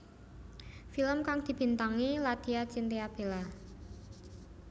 Film kang dibintangi Ladya Chintya Bella